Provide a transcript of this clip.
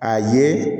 A ye